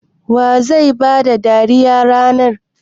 Wa zai ba da dariya a ranar?